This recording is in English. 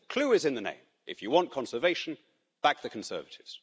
The clue is in the name. If you want conservation, back the Conservatives.